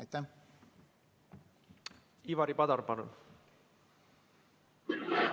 Ivari Padar, palun!